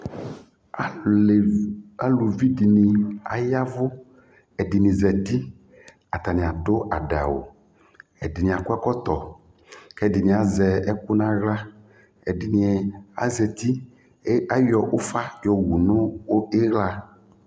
aluvidɩnɩ yavʊ, ɛdɩnɩ zati atanɩ adʊ adawu ɛdɩnɩ akɔ ɛkɔtɔ, kʊ ɛdɩnɩ azɛ ɛkʊ nʊ aɣla, ɛdɩnɩ zati, ayɔ ufa yɔ wu nʊ iɣla,